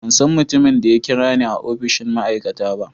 Ban san mutumin da ya kira ni a opishin ma'aikata ba.